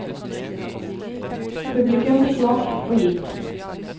Publikum fikk nok, og gikk.